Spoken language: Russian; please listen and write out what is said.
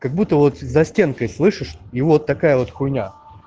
как будто вот за стенкой слышишь и вот такая вот хуйня